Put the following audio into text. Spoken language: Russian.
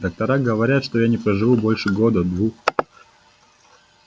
доктора говорят что я не проживу больше года двух